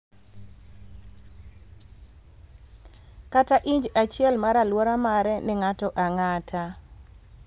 kata inj achiel mar alwora mare ne ng�ato ang�ata.